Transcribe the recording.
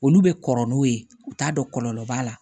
Olu bɛ kɔrɔ n'u ye u t'a dɔn kɔlɔlɔ b'a la